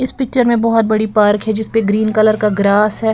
इस पिक्चर में बहोत बड़ी पार्क है जिस पर ग्रीन कलर का ग्रास है।